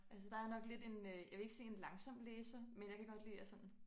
Altså der jeg nok lidt en øh jeg vil ikke sige en langsom læser men jeg kan godt lide at sådan